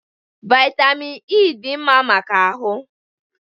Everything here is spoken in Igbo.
Vitamin E dị mma maka ahụ